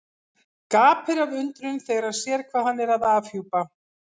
Gapir af undrun þegar hann sér hvað hann er að afhjúpa.